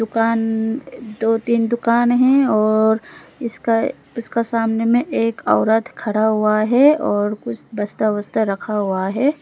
दुकान दो तीन दुकान है और इसका इसका सामने में एक औरत खड़ा हुआ है और कुछ बस्ता वोस्ता रखा हुआ है।